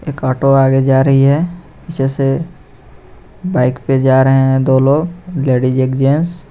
एक ऑटो आगे जा रही है पीछे से बाइक पे जा रहे है दो लोग लेडीज एक जेंट्स